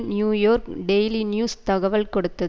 New York daily news தகவல் கொடுத்து